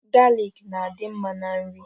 Galik na-adị mma na nri